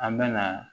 An bɛ na